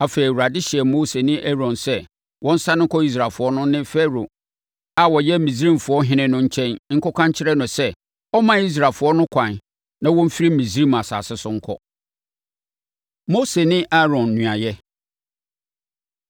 Afei, Awurade hyɛɛ Mose ne Aaron sɛ wɔnsane nkɔ Israelfoɔ no ne Farao a ɔyɛ Misraimfoɔ ɔhene no nkyɛn nkɔka nkyerɛ no sɛ ɔmma Israelfoɔ no ɛkwan na wɔmfiri Misraim asase so nkɔ. Mose Ne Aaron Nuayɛ